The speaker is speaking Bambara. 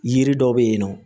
Yiri dɔ bɛ yen nɔ